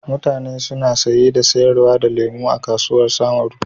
Mutane suna saye da sayar da lemu a kasuwar samaru.